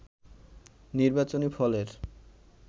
নির্বাচনী ফলের